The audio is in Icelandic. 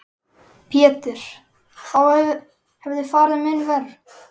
Pétur: Þá hefði farið mun verr?